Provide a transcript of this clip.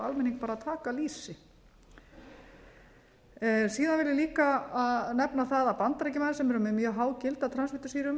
almenning að taka lýsi síðan vil ég líka nefna það að bandaríkjamenn sem eru með mjög há gildi af transfitusýrum